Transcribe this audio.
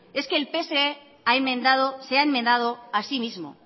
es que el pse se ha enmendado a sí mismo